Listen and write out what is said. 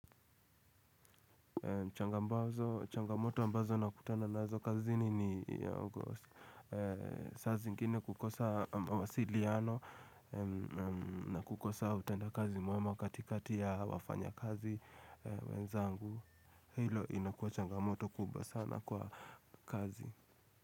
Changamoto ambazo na kutana nazo kazini ni saa zingine kukosa mawasiliano na kukosa utenda kazi mwema katikati ya wafanya kazi wenzangu. Hilo inakuwa changamoto kubwa sana kwa kazi.